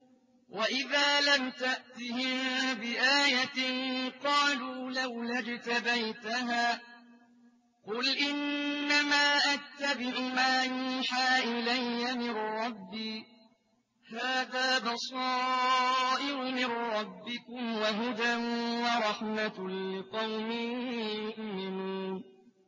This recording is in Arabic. وَإِذَا لَمْ تَأْتِهِم بِآيَةٍ قَالُوا لَوْلَا اجْتَبَيْتَهَا ۚ قُلْ إِنَّمَا أَتَّبِعُ مَا يُوحَىٰ إِلَيَّ مِن رَّبِّي ۚ هَٰذَا بَصَائِرُ مِن رَّبِّكُمْ وَهُدًى وَرَحْمَةٌ لِّقَوْمٍ يُؤْمِنُونَ